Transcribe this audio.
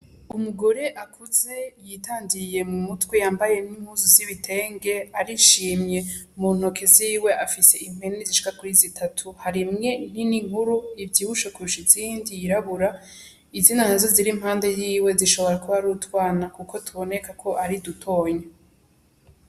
Umugore akuze yitandiye mu mutwe yambaye n'impuzu z'ibitenge arishimye, mu ntoke ziwe afise impene zishoka kuri zitatu, hari imwe nini nkuru ivyibushe kurusha izindi yirabura izindi nazo zishobora kuba ari utwana kuko biboneka ko ari dutonya.